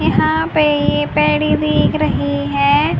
यहां पे ये पैड़ी भींग रही है।